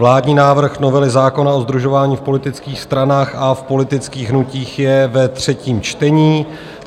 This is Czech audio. Vládní návrh novely zákona o sdružování v politických stranách a v politických hnutích je ve třetím čtení.